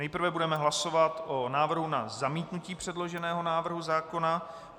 Nejprve budeme hlasovat o návrhu na zamítnutí předloženého návrhu zákona.